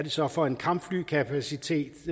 så er for en kampflykapacitet